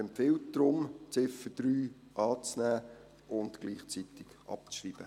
Er empfiehlt deshalb, die Ziffer 3 anzunehmen und gleichzeitig abzuschreiben.